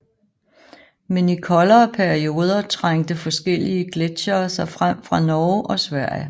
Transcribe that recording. Men i koldere perioder trængte forskellige gletsjere sig frem fra Norge og Sverige